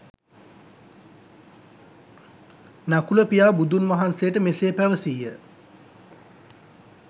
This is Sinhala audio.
නකුල පියා බුදුන්වහන්සේට මෙසේ පැවසීය.